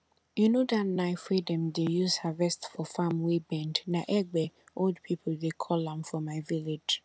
you know that knife wey dem dey use harvest for farm wey bend na egbe old people dey call am for my village